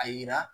A yira